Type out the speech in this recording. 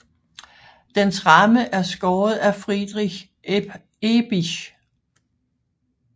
Dens ramme er skåret af Friedrich Ehbisch